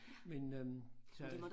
Men øh så